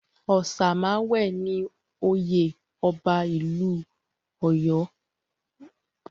Òsemàwé ni orúkọ oyè ọba ìlú Ọ̀yọ́.